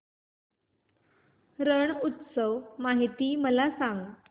रण उत्सव माहिती मला सांग